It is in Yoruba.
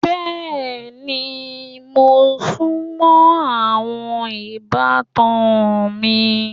Bẹ́ẹ̀ni, mo sùnmọ́ àwọn ìbátan mi.